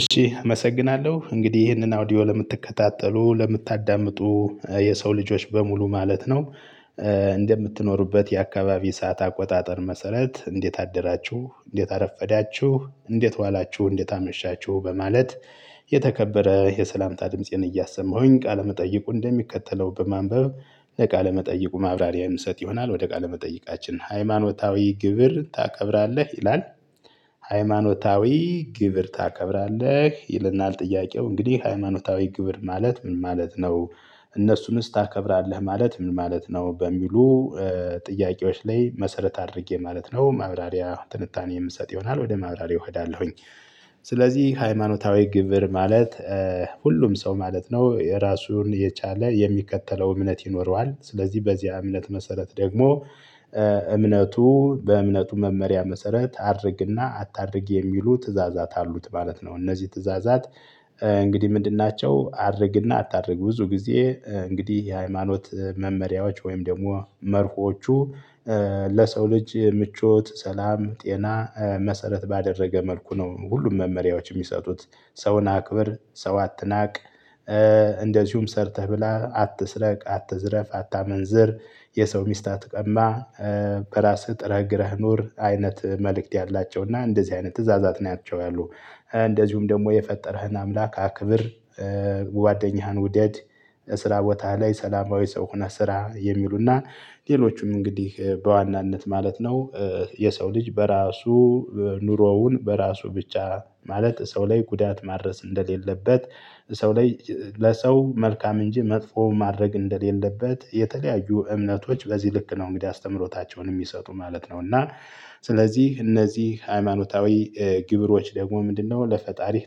እሺ አመሰግናለሁ እንግዲህ ይህንን አውዲዮ ለምትከታተሉ ለምታዳምጡ የሰው ልጆች በሙሉ ማለት ነው። እንደምትኖሩበት የአካባቢ ሰዓት አቆጣጠር መሰረት እንዴት አደራችሁ እንዴት አረፈዳችሁ እንዴት ዋላችሁ እንዴት አመሻችሁ በማለት። የተከበረ የሰላምታ ድምፄን እያሰማሁኝ ቃለመጠይቁን እንደሚከተለው በማንበብ ለቃለመጠይቁ ማብራሪያ የምሰጥ ይሆናል ወደ ቃለመጠይቃችን ሃይማኖታዊ ግብር ታከብራለህ ይላል። ሃይማኖታዊ ግብር ታከብራለህ ይለናል ጥያቄው እንግዲህ ሃይማኖታዊ ግብር ማለት ምን ማለት ነው? እነሱንስ ታከብራለህ ማለት ምን ማለት ነው በሚሉ? ጥያቄዎች ላይ መሰረት አድርጌ ማለት ነው ማብራሪያ ትንታኔ የምሰጥ ይሆናል ወደ ማብራሪያው እሄዳለሁኝ። ስለዚህ ሃይማኖታዊ ግብር ማለት። ሁሉም ሰው ማለት ነው የራሱን የቻለ የሚከተለው እምነት ይኖረዋል ስለዚህ በዚያ እምነት መሰረት ደግሞ። እምነቱ በእምነቱ መመሪያ መሰረት አድርግና አታድርግ የሚሉ ትእዛዛት አሉት ማለት ነው። እነዚህ ትእዛዛት እንግዲህ ምንድን ናቸው? አድርግና አታድርግ ብዙ ጊዜ እንግዲህ የሃይማኖት መመሪያዎች ወይም ደግሞ መርሆቹ። ለሰው ልጅ ምቾት ሰላም ጤና መሰረት ባደረገ መልኩ ነው ሁሉም መመሪያዎች የሚሰጡት። ሰውን አክብር ሰው አትናቅ። እንደዚሁም ሰርተህ ብላ አትስረቅ አትዝረፍ አታመንዝር። የሰው ሚስት አትቀማ። በራስህ ጥረህ ግረህ ኑር አይነት መልእክት ያላቸው እና እንደዚህ አይነት ትእዛዛት ናቸው ያሉ። እንደዚሁም ደግሞ የፈጠረህን አምላክ አክብር። ጓደኛህን ውደድ። ስራ ቦታ ላይ ሰላማዊ ሰው ሆነህ ስራ የሚሉና ሌሎቹም እንግዲህ በዋናነት ማለት ነው። የሰው ልጅ በራሱ ኑሮውን በራሱ ብቻ ማለት ሰው ላይ ጉዳት ማድረስ እንደሌለበት። ሰው ላይ ለሰው መልካም እንጂ መጥፎ ማድረግ እንደሌለበት የተለያዩ እምነቶች በዚህ ልክ ነው። እንግዲህ አስተምህሮታቸውን የሚሰጡ ማለት ነው እና። ስለዚህ እነዚህ ሃይማኖታዊ ግብሮች ደግሞ ምንድነው ለፈጣሪህ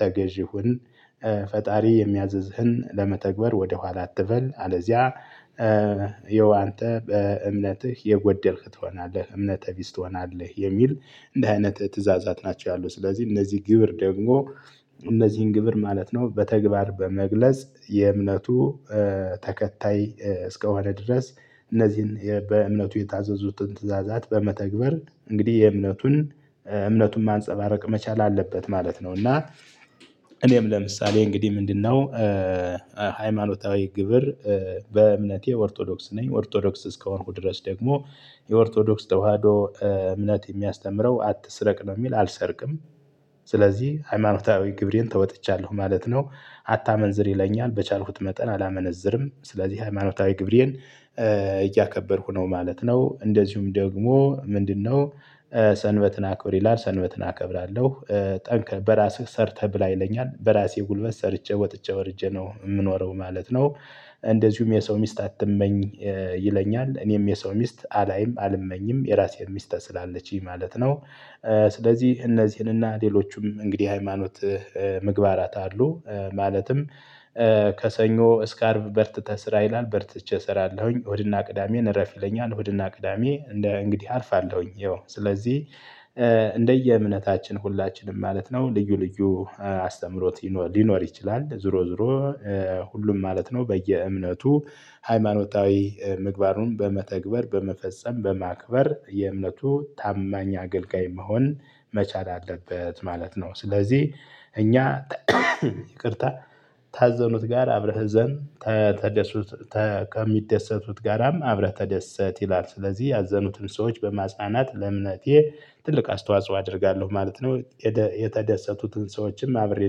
ተገዢ ሁን። ፈጣሪ የሚያዝህን ለመተግበር ወደ ኋላ አትበል አለዚያ። የው አንተ በእምነትህ የጎደልክ ትሆናለህ እምነተ ቢስ ትሆናለህ የሚል። እንዲህ አይነት ትእዛዛት ናቸው ያሉት ስለዚህ እነዚህ ግብር ደግሞ። እነዚህን ግብር ማለት ነው። በተግባር በመግለጽ የእምነቱ። ተከታይ እስከሆነ ድረስ። እነዚህን በእምነቱ የታዘዙትን ትእዛዛት በመተግበር እንግዲህ የእምነቱን እምነቱን ማንፀባረቅ መቻል አለበት ማለት ነው። እና እኔም ለምሳሌ እንግዲህ ምንድነው? ሃይማኖታዊ ግብር። በእምነቴ ኦርቶዶክስ ነኝ ኦርቶዶክስ እስከሆንኩ ድረስ ደግሞ። የኦርቶዶክስ ተዋህዶ እምነት የሚያስተምረው አትስረቅ ነው የሚል አልሰርቅም። ስለዚህ ሃይማኖታዊ ግብሬን ተወጥቻለሁ ማለት ነው። አታመንዝር ይለኛል በቻልኩት መጠን አላመነዝርም። ስለዚህ ሃይማኖታዊ ግብሬን እያከበርኩ ነው ማለት ነው። እንደዚሁም ደግሞ ምንድነው? ሰንበትን አክብር ይላል ሰንበትን አከብራለሁ። ጠንክር በራስህ ሰርተህ ብላ ይለኛል በራሴ ጉልበት ሰርቼ ወጥቼ ወርጄ ነው የምኖረው ማለት ነው። እንደዚሁም የሰው ሚስት አትመኝ። ይለኛል እኔም የሰው ሚስት አላይም አልመኝም የራሴን ሚስት ስላለችኝ ማለት ነው። ስለዚህ እነዚህንና ሌሎቹም እንግዲህ ሃይማኖት። ምግባራት አሉ ማለትም ከሰኞ እስከ አርብ በርትተህ ስራ ይላል በርትቼ እሰራለሁኝ እሁድና ቅዳሜን እረፍ ይለኛል እሁድና ቅዳሜ እንደ እንግዲህ አርፋለሁኝ ያው ስለዚህ። እንደየእምነታችን ሁላችንም ማለት ነው ልዩ ልዩ አስተምህሮት ሊኖር ይችላል ዞሮ ዞሮ። ሁሉም ማለት ነው በየእምነቱ ሃይማኖታዊ ምግባሩን በመተግበር በመፈጸም በማክበር የእምነቱ ታማኝ አገልጋይ መሆን መቻል አለበት ማለት ነው። ስለዚህ እኛ ይቅርታ ታዘኑት ጋር አብረህ እዘን። ከሚደሰቱት ጋራም አብረህ ተደሰት ይላል። ስለዚህ ያዘኑትን ሰዎች በማጽናናት ለእምነቴ ትልቅ አስተዋጽኦ አደርጋለሁ ማለት ነው። የተደሰቱትን ሰዎችም አብሬ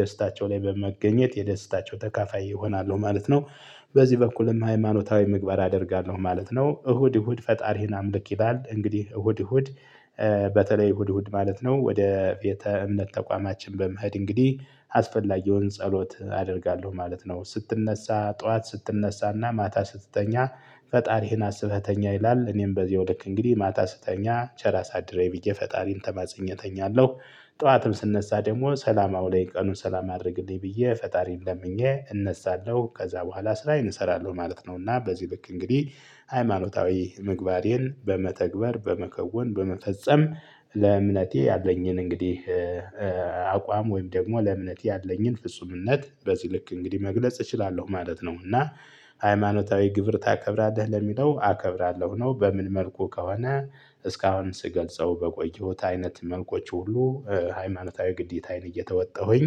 ደስታቸው ላይ በመገኘት የደስታቸው ተካፋይ እሆናለሁ ማለት ነው። በዚህ በኩልም ሃይማኖታዊ ምግባር አደርጋለሁ ማለት ነው። እሁድ እሁድ ፈጣሪህን አምልክ ይላል እንግዲህ እሁድ እሁድ። በተለይ እሁድ እሁድ ማለት ነው ወደ ቤተ እምነት ተቋማችን በመሄድ እንግዲህ አስፈላጊውን ጸሎት አደርጋለሁ ማለት ነው። ስትነሳ ጠዋት ስትነሳና ማታ ስትተኛ ፈጣሪህን አስበህ ተኛ ይላል እኔም በዜሁ ልክ እንግዲህ ማታ ስትተኛ ቸር አሳድረኝ ብዬ ፈጣሪን ተማጽኜ እተኛለሁ። ጠዋትም ስነሳ ደግሞ ሰላም አውለኝ ቀኑን ሰላም አድርግልኝ ብዬ ፈጣሪን ለምኜ እነሳለሁ ከዛ በኋላ ስራዬን እሰራለሁ ማለት ነው። እና በዚህ ልክ እንግዲህ ሃይማኖታዊ ምግባሬን በመተግበር በመከወን በመፈጸም። ለእምነቴ ያለኝን እንግዲህ። አቋም ወይም ደግሞ ለእምነቴ ያለኝን ፍጹምነት በዚህ ልክ እንግዲህ መግለጽ እችላለሁ ማለት ነው። እና ሃይማኖታዊ ግብር ታከብራለህ ለሚለው አከብራለሁ ነው በምን መልኩ ከሆነ። እስካሁን ስገልጸው በቆየሁት አይነት መልኮች ሁሉ ሃይማኖታዊ ግዴታዬን እየተወጣሁኝ